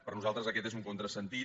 per nosaltres aquest és un contrasentit